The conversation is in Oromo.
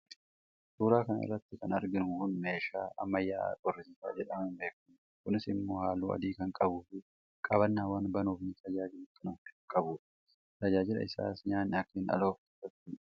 suuraa kana irratti kan arginu kun meeshaa ammayyaa'aa qorrisiisaa jedhamuun beekamu dha. kunis immoo halluu adii kan qabuu fi qabannaawwan banuuf nu tajaajilan kan ofirraa qabu dha. tajaajilli isaas nyaanni akka hin aloofne gochuudha.